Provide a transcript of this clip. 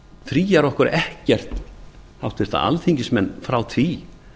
það fríar okkur háttvirta alþingismenn ekkert frá því